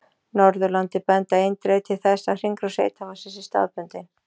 Norðurlandi benda eindregið til þess að hringrás heita vatnsins sé staðbundin.